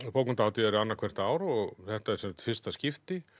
bókmenntahátíð er annað hvert ár og þetta er í fyrsta skipti